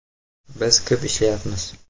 Biz ko‘p ishlayapmiz.